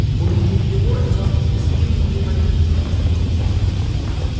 увидев его джонс вскинул револьвер и выстрелил